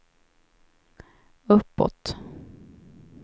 uppåt